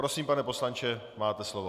Prosím, pane poslanče, máte slovo.